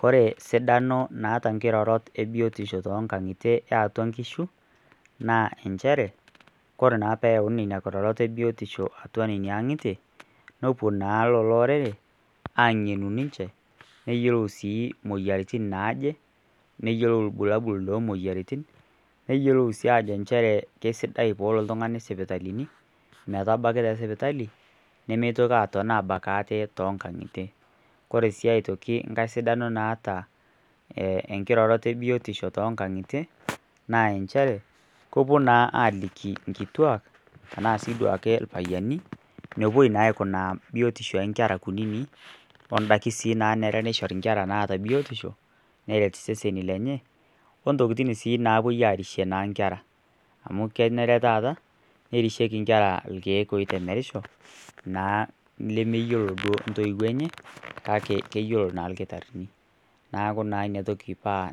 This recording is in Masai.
Kore sidano naa nkirorot toonkang'itie eeatua inkishu naa inchere kore naa peeyauni nena kirorot ebiotisho atua nena aang'itie nepuo naa lelo orere ai ang'enu ninche neyiolou sii imoyiaritin naaje neyiolou irbulabol loomoyiaritin neyiolou sii ajo inchere kesidai peelo oltung'ani sipitalini metabaki te sipitali nemeitoki aaton aabak ate toonkang'itie ore aii aitoki enkae sidano naata enkae kiroroto e biotisho toonkang'itie naa inchere kepuo naa aaliki inkituak enaa ake duake irpayiani enepuoi naa aikuna biotisho oonkera kuninik ondaiki sii naanare neishori inkera biotisho neret iseseni lenye ontokitin naapuo aarishie naa inkera amu kenare taa nerishieki inkera irkiek ootemerisho naa lemeyiolo duo intoiwuo enye kake keyiolo naa irkitarini enatoki paa